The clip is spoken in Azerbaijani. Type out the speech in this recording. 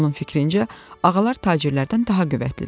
Onun fikrincə, ağalar tacirlərdən daha qüvvətlidirlər.